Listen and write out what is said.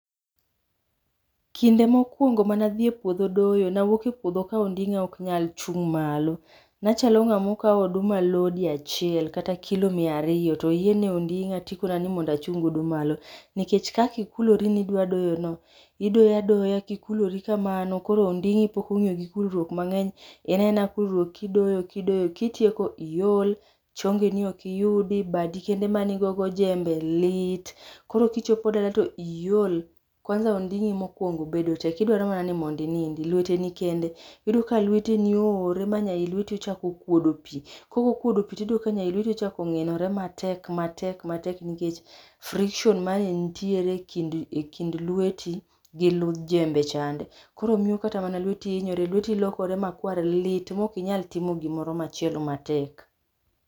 Kinde mokuongo mane adhi e puodho doyo nawuok e puodho ka ondinga ok nyal chung malo. Nachalo ngama okaw oduma lodi achiel kata kilo mia ariyo toyieng e ondinga tikona nimondo achung godo malo. nikech kaka ikulore nidwa doyo no, idoyo adoya kikulori kamano koro ondingi pok ongiyo gi kulruok mangeny, en aena kulruok kkidoyo kidoyo, kitieko tiol, chongeni ok iyudi, badi kende mane igo go jembe, lit, koro kichopo dala to iol, kwanza ondingi mokuongo bedo tek idwaro ni mondo inindi, lwete ni kende, iyudo ka lweteni oore miyudo ka ii lweti okuodo pii, kaok okuodo pii iyudo ka ii lweti ochako nginore matek matek matek nikech friction mane nitie ekind lweti gi ludh jembe chande, koro miyo kata mana lweti hinyore, lweti lokore makwar lit, maok inyal timo gimoro machielo matek